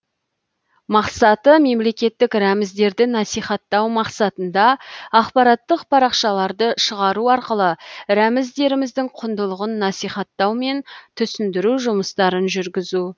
мақсаты мемлекеттік рәміздерді насихаттау мақсатында ақпараттық парақшаларды шығару арқылы рәміздеріміздің құндылығын насихаттау мен түсіндіру жұмыстарын жүргізу